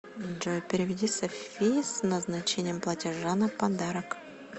джой переведи софи с назначением платежа на подарок